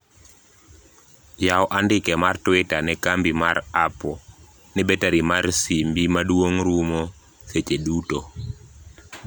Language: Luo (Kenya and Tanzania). yaw andike mar twitter ne kambi mar apple ni betari mar simbi maduong' rumo seche duto